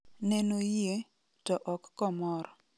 Nenoyie, to ok komor.